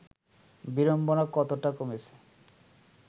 বিড়ম্বনা কতটা কমেছে